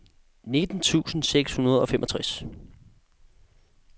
nitten tusind seks hundrede og femogtres